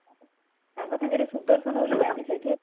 ତାଙ୍କ ସାଙ୍ଗରେ ସୁଦର୍ଶନ ବୋଲି ଯାନ୍ତି ସେଇଠିକି